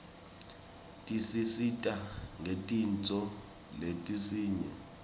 tisisita ngetintfo letinyeti